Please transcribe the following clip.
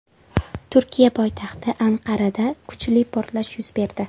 Turkiya poytaxti Anqarada kuchli portlash yuz berdi.